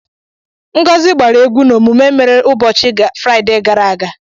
Ngozi gbara egwu n'omume mere n'ụbọchị Fraịde gara aga.